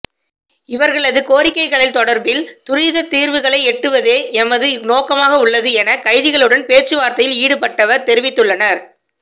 இவர்களது கோரிக்கைகள் தொடர்பில் துரித தீர்வுகளை எட்டுவதே எமது நோக்க மாகவுள்ளது என கைதிகளுடன் பேச்சுவார்த்தையில் ஈடுபட்டவர்கள் தெரிவித்து ள்ளனர்